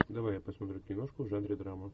давай я посмотрю киношку в жанре драма